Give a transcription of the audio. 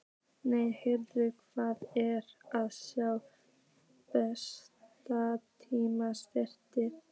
Nei, heyrðu, hvað er að sjá blessað Nílarsefið!